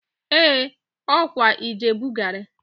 Ee! Ọ kwa Ijebu gari